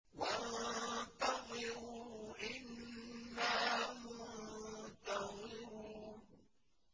وَانتَظِرُوا إِنَّا مُنتَظِرُونَ